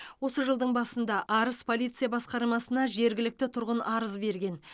осы жылдың басында арыс полиция басқармасына жергілікті тұрғын арыз берген